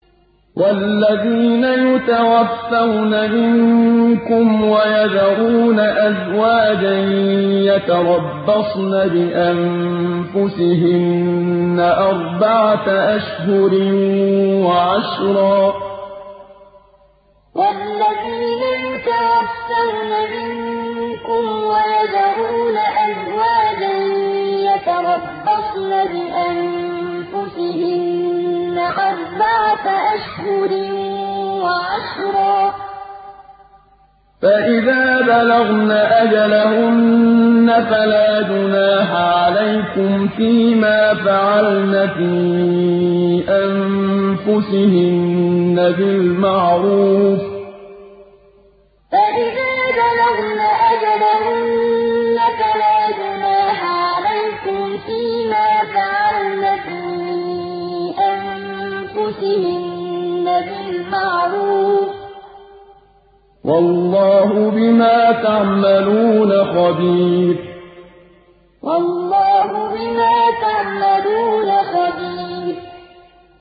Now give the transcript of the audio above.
وَالَّذِينَ يُتَوَفَّوْنَ مِنكُمْ وَيَذَرُونَ أَزْوَاجًا يَتَرَبَّصْنَ بِأَنفُسِهِنَّ أَرْبَعَةَ أَشْهُرٍ وَعَشْرًا ۖ فَإِذَا بَلَغْنَ أَجَلَهُنَّ فَلَا جُنَاحَ عَلَيْكُمْ فِيمَا فَعَلْنَ فِي أَنفُسِهِنَّ بِالْمَعْرُوفِ ۗ وَاللَّهُ بِمَا تَعْمَلُونَ خَبِيرٌ وَالَّذِينَ يُتَوَفَّوْنَ مِنكُمْ وَيَذَرُونَ أَزْوَاجًا يَتَرَبَّصْنَ بِأَنفُسِهِنَّ أَرْبَعَةَ أَشْهُرٍ وَعَشْرًا ۖ فَإِذَا بَلَغْنَ أَجَلَهُنَّ فَلَا جُنَاحَ عَلَيْكُمْ فِيمَا فَعَلْنَ فِي أَنفُسِهِنَّ بِالْمَعْرُوفِ ۗ وَاللَّهُ بِمَا تَعْمَلُونَ خَبِيرٌ